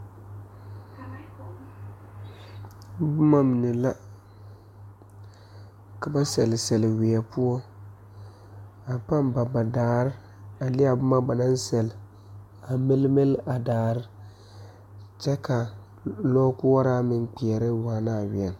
Boma mine la ka ba sele sele wiɛ poɔ a pa ba ba daare a leŋ a boma ba naŋ sele a mile mile a daare kyɛ ka lɔ koɔra meŋ kpɛre waana a wiɛ.